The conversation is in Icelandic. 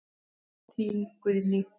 Þín, Guðný.